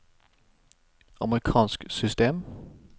amerikansk system